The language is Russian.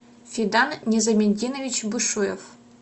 федан незаментинович бушуев